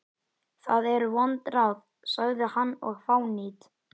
Það eru vond ráð, sagði hann,-og fánýt.